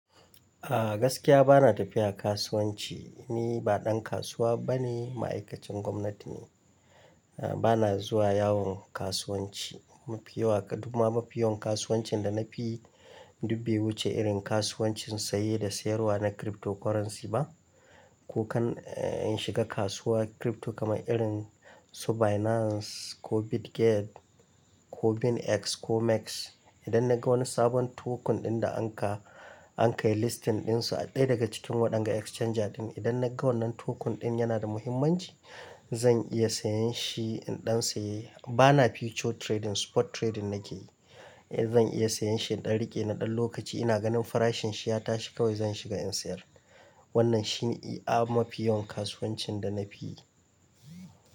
A gaskiya bana tafiya kasuwanci. Ni ba ɗan kasuwa bane, ma'aikacin gwamnati ne. A bana zuwa yawon kasuwanci. Mafiya kuma mafiya kasuwancin da nafi duk be wuce irin kasuwancin saye da sayarwa na cryptocurrency ba, ko kan in shiga kasuwar crypto kamar irin su Binance ko Bitget ko BingX ko MEXC. Idan naga wani sabon token ɗin da an ka, an ka yi listing ɗin su a ɗaya daga cikin waɗannan exchanger ɗin, idan na ga wannan token ɗin yana da muhimmanci, zan iya sayen shi in ɗan saye. Bana future trading, spot trading nake yi. Zan iya sayan shi in ɗan riƙe na ɗan lokaci ina ganin farashin shi ya tashi kawai zan shiga in sayar. Wannan shine a mafiya kasuwancin da nafi yi.